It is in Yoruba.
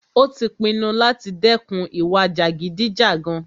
Ó tí pinnu láti dẹ́kun ìwà jàgídíjàgan.